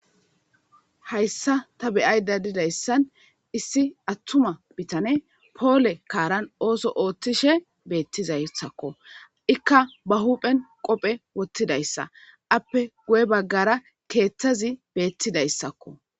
Hayssa ta be'ayda dizaysan issi atuma bitaney poole kaaran ootho oothishe beetizaysako. Ika be huphen qoofe wothidaysako. Ape guye baggara keethazi beetidaysako.